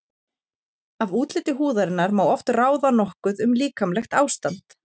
Af útliti húðarinnar má oft ráða nokkuð um líkamlegt ástand.